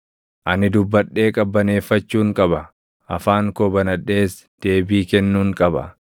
Ani dubbadhee qabbaneeffachuun qaba; afaan koo banadhees deebii kennuun qaba.